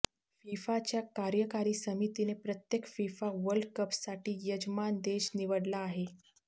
फीफाच्या कार्यकारी समितीने प्रत्येक फिफा वर्ल्डकपसाठी यजमान देश निवडला आहे